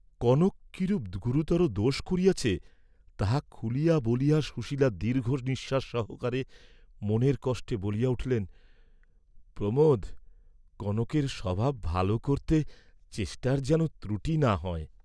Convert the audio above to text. কনক কিরূপ গুরুতর দোষ করিয়াছে, তাহা খুলিয়া বলিয়া সুশীলা দীর্ঘ নিশ্বাস সহকারে মনের কষ্টে বলিয়া উঠিলেন, প্রমোদ, কনকের স্বভাব ভাল করতে চেষ্টার যেন ত্রুটি না হয়।